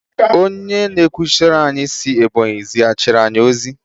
Onye na-ekwuchitere anyị si Ebonyi zighachi anyị ozi.